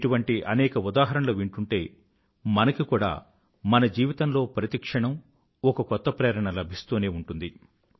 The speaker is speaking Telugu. ఇటువంటి అనేక ఉదాహరణలు వింటూంటే మనకి కూడా మన జీవితంలో ప్రతి క్షణం ఒకకొత్త ప్రేరణ లభిస్తూనే ఉంటుంది